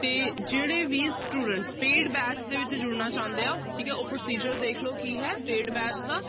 ਤੇ ਜਿਹੜੇ ਵੀ students paid batch ਦੇ ਵਿੱਚ ਜੁੜਨਾ ਚਾਹੁੰਦੇ ਆ, ਠੀਕ ਹੈ ਉਹ procedure ਦੇਖ ਲਓ ਕੀ ਹੈ paid batch ਦਾ